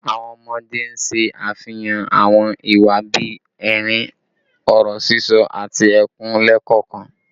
Awọn ọmọde n ṣe afihan awọn iwa bii ẹrin, ọrọ sisọ, ati ẹkun lẹẹkọọkan